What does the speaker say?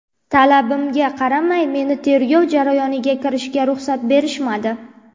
Talabimga qaramay, meni tergov jarayoniga kirishga ruxsat berishmadi.